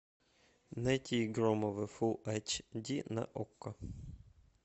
найти громовы фулл айч ди на окко